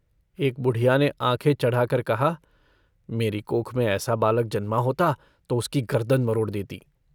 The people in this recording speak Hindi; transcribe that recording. एक बुढ़िया ने आँखें चढ़ाकर कहा - मेरी कोख में ऐसा बालक जन्मा होता तो उसकी गर्दन मरोड़ देती।